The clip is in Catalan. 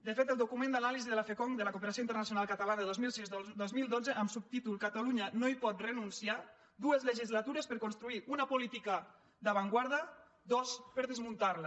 de fet el document d’anàlisi de la fcongd de la cooperació internacional catalana dos mil sisdos mil dotze amb el subtítol catalunya no hi pot renunciar dues legislatures per construir una política d’avantguarda dos anys per desmuntarla